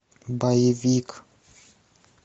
боевик